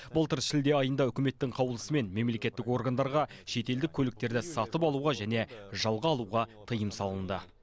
былтыр шілде айында үкіметтің қаулысымен мемлекеттік органдарға шетелдік көліктерді сатып алуға және жалға алуға тыйым салынды